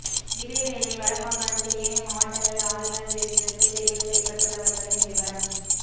இதேவேளை வட மாகாணத்தில் ஏனைய மாவட்டங்களில் ஆளுனர் விருதுக்கு தெரிவு செய்யப்பட்டள்ளவர்களின் விபரம்